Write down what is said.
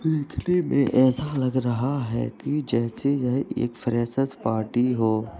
देखने में ऐसा लग रहा कि जैसे यह एक फ्रेशेर्स पार्टी हो।